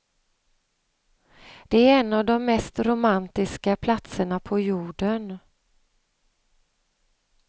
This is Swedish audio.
Det är en av de mest romantiska platserna på jorden.